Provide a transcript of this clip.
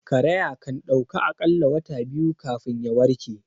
Karaya kandauka akalla wata biyu kafin ya warke